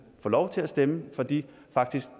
få lov til at stemme for de